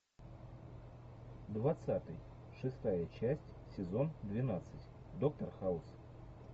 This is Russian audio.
двадцатый шестая часть сезон двенадцать доктор хаус